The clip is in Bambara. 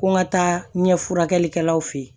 Ko n ka taa ɲɛ furakɛlikɛlaw fɛ yen